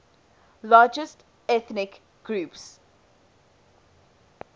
largest ethnic groups